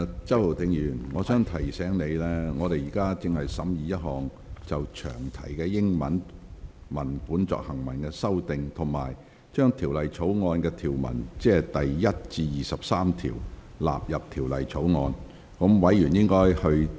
周浩鼎議員，我提醒你，全體委員會現正審議一項就詳題英文文本作出行文修訂的修正案，以及應否將第1至23條納入《條例草案》。